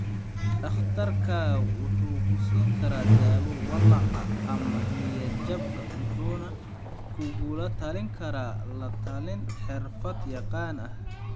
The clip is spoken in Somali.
Dhakhtarkaagu wuxuu ku siin karaa dawo walaaca ama niyad-jabka wuxuuna kugula talin karaa la-talin xirfad-yaqaan ah.